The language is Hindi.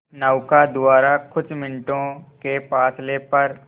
नौका द्वारा कुछ मिनटों के फासले पर